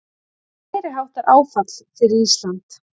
Meiriháttar áfall fyrir Ísland